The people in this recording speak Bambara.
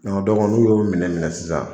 n'u y'o minɛ minɛ sisan